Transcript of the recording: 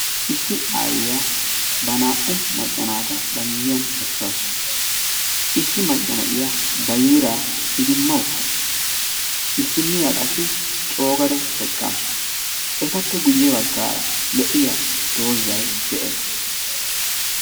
Issi Aayiya ba naa''u macca naata ba miyiyan esasu. Issi macca naa''iya ba yiira idima uttasu. Issiniya qassi cogada eqqasu. Etappe guye baggaara lo'iya dozay de'ees.